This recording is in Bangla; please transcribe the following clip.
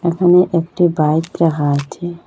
এখানে একটি বাইক রাখা আছে।